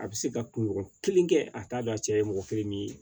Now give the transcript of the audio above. A bɛ se ka kunɲɔgɔn kelen kɛ a t'a dɔn a cɛ ye mɔgɔ kelen min ye